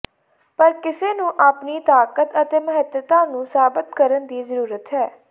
ਪਰ ਕਿਸੇ ਨੂੰ ਆਪਣੀ ਤਾਕਤ ਅਤੇ ਮਹੱਤਤਾ ਨੂੰ ਸਾਬਤ ਕਰਨ ਦੀ ਜ਼ਰੂਰਤ ਹੈ